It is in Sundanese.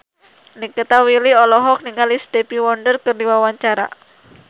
Nikita Willy olohok ningali Stevie Wonder keur diwawancara